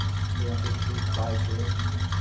Isso é uma coisa que todo pai quer, né.